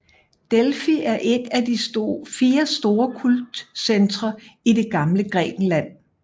Delfi er et at de fire store kultcentre i det gamle Grækenland